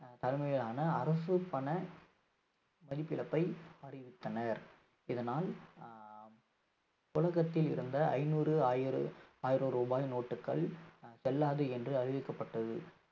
ஆஹ் தலைமையிலான அரசு பண மதிப்பிழப்பை அறிவித்தனர் இதனால் ஆஹ் உலகத்தில் இருந்த ஐநூறு ஆயிரம் ஆயிரம் ரூபாய் note டுகள் ஆஹ் செல்லாது என்று அறிவிக்கப்பட்டது